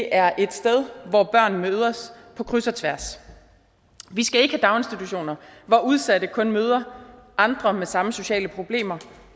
er et sted hvor børn mødes på kryds og tværs vi skal ikke have daginstitutioner hvor udsatte kun møder andre med samme sociale problemer